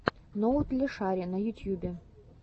ноутлешари на ютьюбе